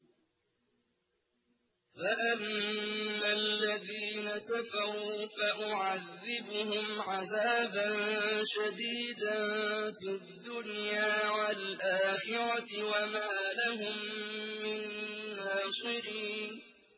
فَأَمَّا الَّذِينَ كَفَرُوا فَأُعَذِّبُهُمْ عَذَابًا شَدِيدًا فِي الدُّنْيَا وَالْآخِرَةِ وَمَا لَهُم مِّن نَّاصِرِينَ